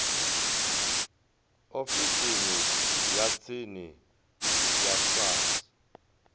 ofisini ya tsini ya sars